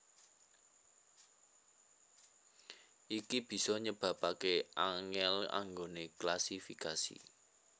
Iki bisa nyebabaké angèl anggoné klasifikasi